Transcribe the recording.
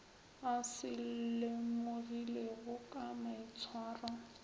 a se lemogilego ka maitshwaro